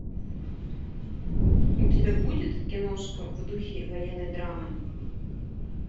у тебя будет киношка в духе военной драмы